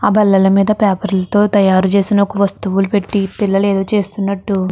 ఆ బల్లల మీద పేపర్ తో తయారు చేసిన వస్తువులు పెట్టి పిల్లలు ఏదో చేస్తున్నట్టు --